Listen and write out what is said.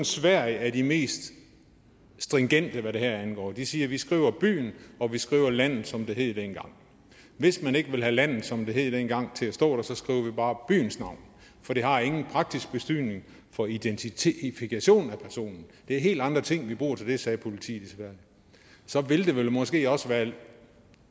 sverige er det mest stringente land hvad det her angår de siger vi skriver byen og vi skriver landet som det hed dengang hvis man ikke vil have landet som det hed dengang til at stå der så skriver vi bare byens navn for det har ingen praktisk betydning for identifikation af personen det er helt andre ting vi bruger til det sagde politiet i sverige så ville det måske også være